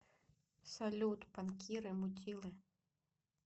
салют банкиры мудилы